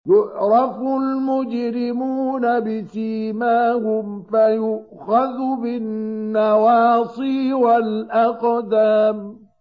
يُعْرَفُ الْمُجْرِمُونَ بِسِيمَاهُمْ فَيُؤْخَذُ بِالنَّوَاصِي وَالْأَقْدَامِ